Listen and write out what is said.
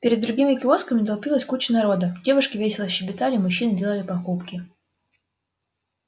перед другими киосками толпилась куча народа девушки весело щебетали мужчины делали покупки